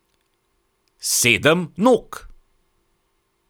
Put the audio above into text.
Sedem nog!